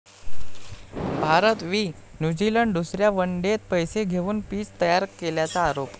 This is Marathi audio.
भारत वि. न्यूझिलंड दुसऱ्या वन डेत पैसे घेऊन पिच तयार केल्याचा आरोप